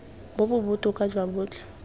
bo bo botoka jwa botlhe